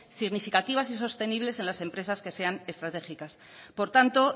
significativas y sostenibles en las empresas que sean estratégicas por tanto